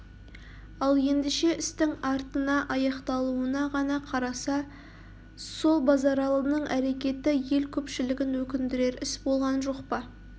ал ендеше істің артына аяқталуына ғана қараса сол базаралының әрекеті ел көпшілігін өкіндірер іс болған жоқ па